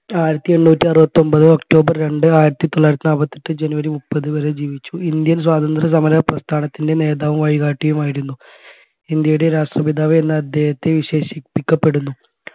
ആയിരത്തി എണ്ണൂറ്റി അറുപത്തി ഒമ്പത് ഒക്ടോബർ രണ്ട് ആയിരത്തി തൊള്ളായിരത്തി നാൽപ്പത്തി എട്ട് ജനുവരി മുപ്പത് വരെ ജീവിച്ചു indian സ്വാത്രന്ത്ര്യസമര പ്രസ്ഥാനത്തിൻെറ നേതാവും വഴികാട്ടിയുമായിരുന്നു. ഇന്ത്യയുടെ രാഷ്ട്രപിതാവ് എന്ന് അദ്ദേഹത്തെ വിശേഷിപ്പിക്കപ്പെടുന്നു